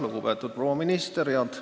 Lugupeetud proua minister!